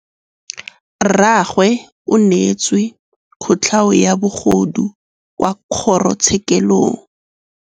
Rragwe o neetswe kotlhaô ya bogodu kwa kgoro tshêkêlông.